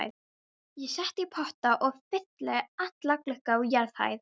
Ég set í potta og fylli alla glugga á jarðhæð.